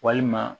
Walima